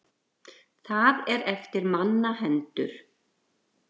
Það er eftir manna hendur.